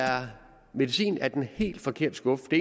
medicin af den helt forkerte skuffe det